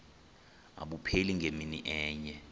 abupheli ngemini enye